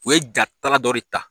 U ye jatala dɔ de ta